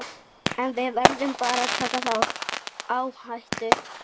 En við verðum bara að taka þá áhættu.